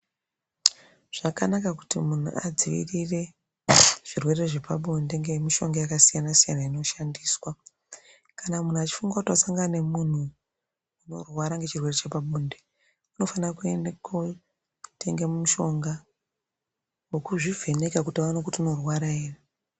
Zvakanaka kuti muntu adzivirire zvirwere zvepabonde ngemishonga yakasiyana-siyana inoshandiswa. Kana muntu echifunga kuti wasangana nemuntu unorwara ngechirwere chepabonde, unofane kootenge mushonga wokuzvivheneka kuti aone kuti unorwara ere.